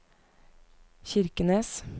Kirkenes